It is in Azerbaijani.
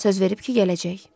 Söz verib ki, gələcək.